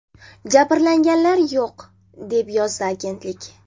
Jabrlanganlar yo‘q”, deb yozadi agentlik.